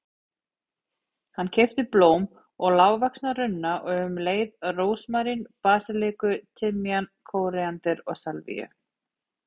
Hann keypti blóm og lágvaxna runna og um leið rósmarín, basilíku, timjan, kóríander og salvíu.